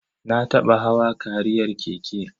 Na taɓa hawa kariyar keke.